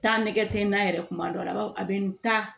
Taa nɛgɛ tɛ na yɛrɛ kuma dɔw la a b'a fɔ a bɛ n ta